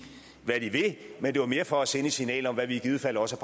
hvad de vil men det var mere for at sende et signal om hvad vi i givet fald også